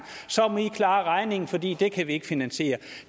så må i klare regningen for det kan vi ikke finansiere